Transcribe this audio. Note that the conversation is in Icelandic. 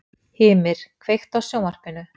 Hymir, kveiktu á sjónvarpinu.